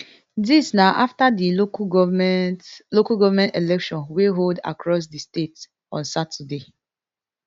dis na afta di local goment local goment election wey hold across di state on saturday